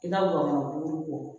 I ka wale ko